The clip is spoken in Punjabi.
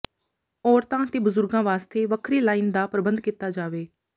ਔਰਤਾਂ ਤੇ ਬਜ਼ੁਰਗਾਂ ਵਾਸਤੇ ਵੱਖਰੀ ਲਾਈਨ ਦਾ ਪ੍ਰਬੰਧ ਕੀਤਾ ਜਾਵੇ